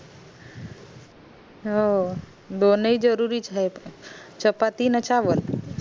हो दोनी जरुरी च आहेत चपाती न चावलं